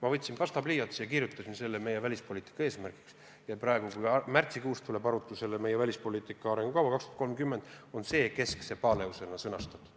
Ma võtsin pastapliiatsi ja kirjutasin selle meie välispoliitika eesmärkide hulka ning kui märtsikuus tuleb arutusele meie "Välispoliitika arengukava 2030", on see seal keskse paleusena sõnastatud.